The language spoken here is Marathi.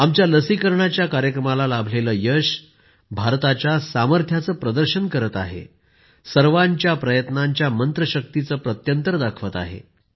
आमच्या लसीकरणाच्या कार्यक्रमाला लाभलेलं यश भारताच्या सामर्थ्याचं प्रदर्शन करत आहे सर्वाच्या प्रयत्नांच्या मंत्रशक्तिचं प्रत्यंतर दाखवत आहे